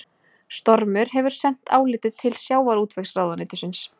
Stormur hefur sent álitið til sjávarútvegsráðuneytisins